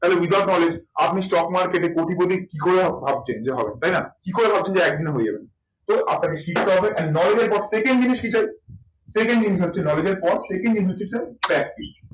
তাহলে without knowledge আপনি stock market এ কোটিপতি কি করে ভাবছেন যে হবেন? তাই না? কি করে ভাবছেন একদিনে হয়ে যাবেন? তো আপনাকে শিখতে হবে and পর থেকেই যদি শিখেন second in হচ্ছে knowledge এর পর